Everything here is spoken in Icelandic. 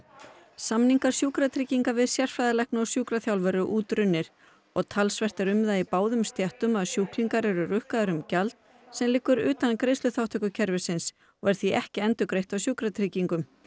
samningar Sjúkratrygginga við sérfræðilækna og sjúkraþjálfara eru útrunnir og talsvert er um það í báðum stéttum að sjúklingar eru rukkaðir um gjald sem liggur utan greiðsluþátttökukerfisins og því ekki endurgreitt af sjúkratryggingum